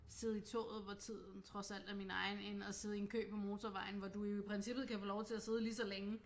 Sidde i toget hvor tiden trods alt er min egen end at sidde i en kø på motorvejen hvor du jo i princippet kan få lov til at sidde lige så længe